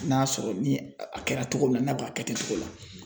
N'a sɔrɔ ni a kɛra togo min na n'a bɛ ka kɛ ten cogo la.